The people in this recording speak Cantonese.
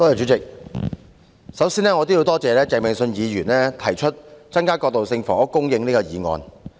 主席，首先我要多謝鄭泳舜議員提出"增加過渡性房屋供應"這議案。